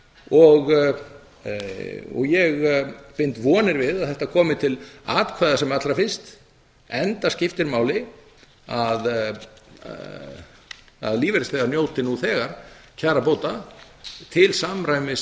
og ég bind vonir við að þetta komi til atkvæða sem fyrst enda skiptir máli að lífeyrisþegar njóti nú þegar kjarabóta til samræmis